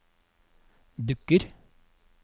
dukker